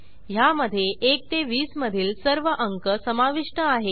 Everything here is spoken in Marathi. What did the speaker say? ह्यामधे 1 ते 20 मधील सर्व अंक समाविष्ट आहेत